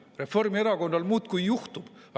Reformierakonnal muudkui juhtub!